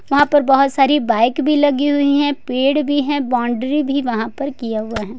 वहां पर बहोत सारी बाइक भी लगी हुई है पेड़ भी है बाउंड्री भी वहां पर किया हुआ है।